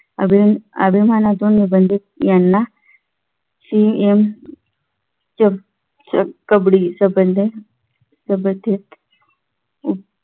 अभिमान अभिमानातून निबंध यांना CM कबड्डी संबंध संबंधित उप